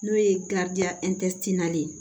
N'o ye ye